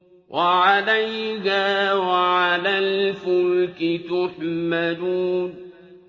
وَعَلَيْهَا وَعَلَى الْفُلْكِ تُحْمَلُونَ